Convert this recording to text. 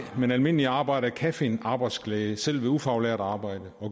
men almindelige arbejdere kan finde arbejdsglæde selv ved ufaglært arbejde